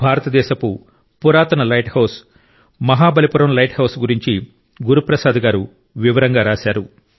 భారతదేశపు పురాతన lighthouse Mahabalipuram lighthouse గురించి గురు ప్రసాద్ గారు వివరంగా రాశారు